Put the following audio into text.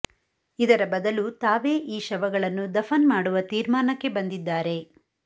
ಇದರ ಬದಲು ತಾವೇ ಈ ಶವಗಳನ್ನು ದಫನ್ ಮಾಡುವ ತೀರ್ಮಾನಕ್ಕೆ ಬಂದಿದ್ದಾರೆ